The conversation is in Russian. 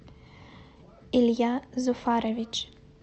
илья зуфарович